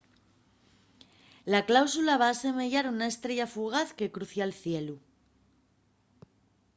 la cáusula va asemeyar una estrella fugaz que crucia’l cielu